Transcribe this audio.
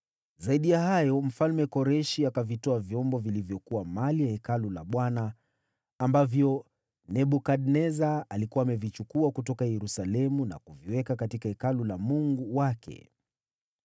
Zaidi ya hayo, Mfalme Koreshi akavitoa vyombo vilivyokuwa mali ya Hekalu la Bwana , ambavyo Nebukadneza alikuwa amevichukua kutoka Yerusalemu na kuviweka katika hekalu la mungu wake.